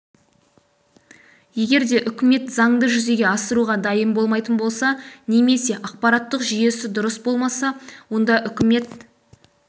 егер де үкімет заңды жүзеге асыруға дайын болмайтын болса немесе ақпараттық жүйесі дұрыс болмаса онда үкімет